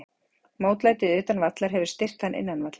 Mótlætið utan vallar hefur styrkt hann innan vallar.